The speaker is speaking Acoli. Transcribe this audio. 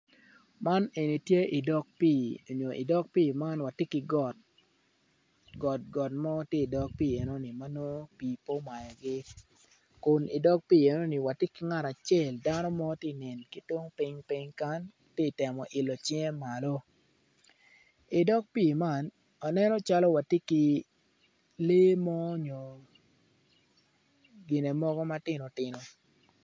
Man eni tye i dog pii nyo i dog pii man watye ki got got mo tye i dog pii enoni ma nongo pii pe omayogi kun i dog enoni wati ki ngat acel dano mo ti nen ki tung ping kany titemo ilo cinge malo i dog pii man aneno calo wati ki lee mo nyo gine mogo matino tino